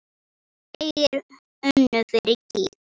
En þeir unnu fyrir gýg.